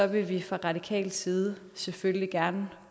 vil vi fra radikal side selvfølgelig gerne